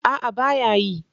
A'a baya yi.